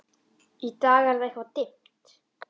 Í dag er það eitthvað dimmt.